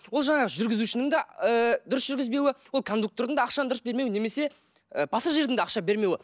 ол жаңағы жүргізушінің да ыыы дұрыс жүргізбеуі ол кондуктордың да ақшаны дұрыс бермеуі немесе і пассажирдің да ақша бермеуі